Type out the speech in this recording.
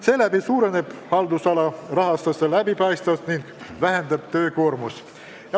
Seeläbi suureneb haldusala rahastuse läbipaistvus ning väheneb töökoormus.